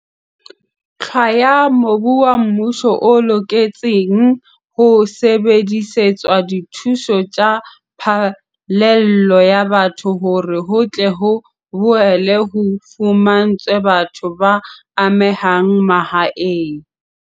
hlwaya mobu wa mmuso o loketseng ho sebedisetswa dithuso tsa phallelo ya batho hore ho tle ho boele ho fumantshwe batho ba amehang mahae.